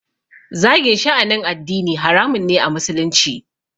Zagin sha'anin addini haramun ne a musulunci